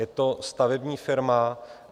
Je to stavební firma.